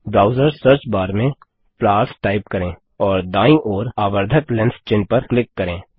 browsers search bar में flowers type करें और दाईं ओर आवर्धक लेंस चिन्ह पर क्लिक करें